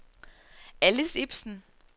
Alice Ipsen